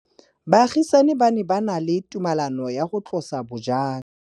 Baagisani ba ne ba na le tumalanô ya go tlosa bojang.